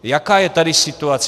Jaká je tady situace?